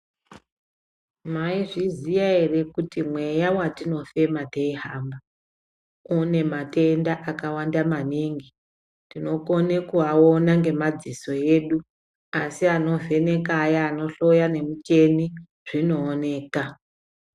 Mwaizviziya ere kuti mweya watinofema teihamba une matenda akawanda maningi. Tinokone kusaaona ngemadziso edu asi anovheneka aya anohloya ngemichini zvinooneka.